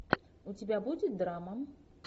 у тебя будет драма